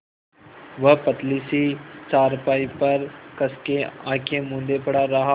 वह पतली सी चारपाई पर कस के आँखें मूँदे पड़ा रहा